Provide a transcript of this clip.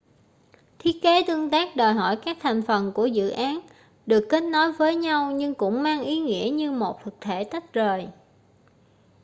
thiết kế tương tác đòi hỏi các thành phần của dự án được kết nối với nhau nhưng cũng mang ý nghĩa như một thực thể tách rời